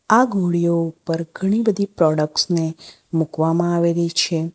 આ ઘોડીયો ઉપર ઘણી બધી પ્રોડક્ટસ ને મૂકવામાં આવેલી છે.